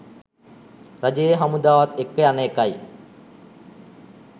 රජයේ හමුදාවත් එක්ක යන එකයි.